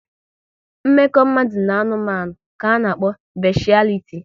Mmekọ mmadụ na anụmanụ ka a na-akpọ beshialiti